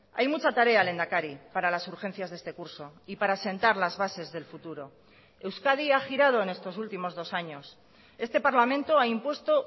hay mucha tarea lehendakari para las urgencias de este curso y para sentar las bases del futuro euskadi ha girado en estos últimos dos años este parlamento ha impuesto